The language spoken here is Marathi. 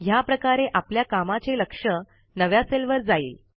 ह्या प्रकारे आपल्या कामाचे लक्ष नव्या सेलवर जाईल